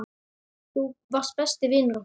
Þú varst besti vinur okkar.